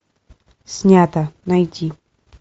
снято найти